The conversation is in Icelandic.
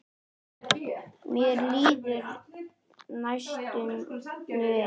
Mér líður næstum vel.